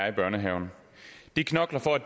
i børnehaven de knokler for at